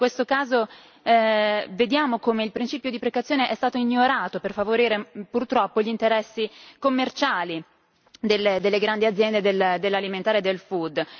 In questo caso, vediamo che il principio di precauzione è stato ignorato per favorire, purtroppo, gli interessi commerciali delle grandi aziende dell'alimentare e del food